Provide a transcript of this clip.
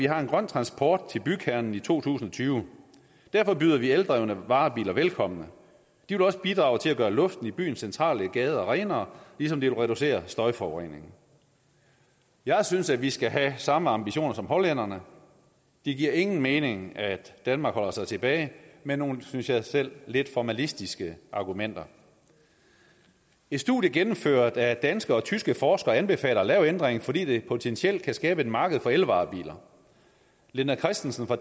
har grøn transport til bykernen i to tusind og tyve derfor byder de eldrevne varebiler velkommen de vil bidrage til at gøre luften i byens centrale gader renere ligesom de vil reducere støjforureningen jeg synes at vi skal have samme ambitioner som hollænderne det giver ingen mening at danmark holder sig tilbage med nogle synes jeg selv lidt formalistiske argumenter et studie gennemført af danske og tyske forskere anbefaler at lave ændringen fordi det potentielt kan skabe et marked for elvarebiler linda christensen fra